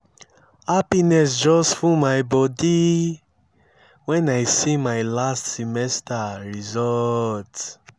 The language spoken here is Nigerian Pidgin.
happiness just full my body when i see my last semester results